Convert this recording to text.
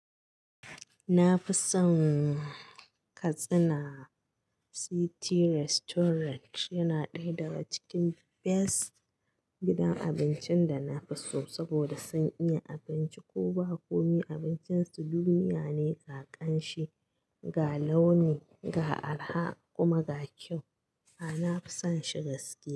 Na fi son Katsina City Restaurant, yana ɗaya daga cikin best gidan abincin da na fi so saboda sun iya abinci, ko ba komi abincin su duniya ne ga ƙanshi, ga launi, ga arha kuma ga kyau. A'a, na fi son shi gaske.